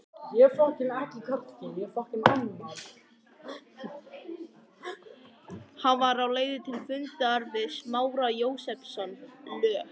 Hann var á leið til fundar við Smára Jósepsson, lög